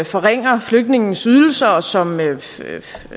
forringer flygtningenes ydelser og som altså vil